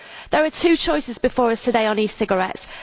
There are two choices before us today on e cigarettes.